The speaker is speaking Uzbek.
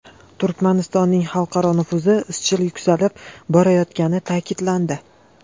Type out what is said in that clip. Turkmanistonning xalqaro nufuzi izchil yuksalib borayotgani ta’kidlandi.